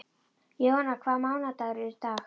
Jóanna, hvaða mánaðardagur er í dag?